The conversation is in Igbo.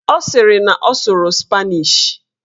Ọ sịrị na ọ sụrụ spanish